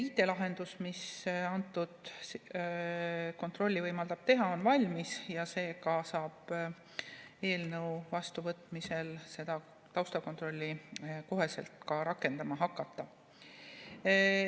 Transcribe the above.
IT‑lahendus, mis kontrolli võimaldab teha, on valmis ja seega saab eelnõu vastuvõtmise korral seda taustakontrolli kohe rakendama hakata.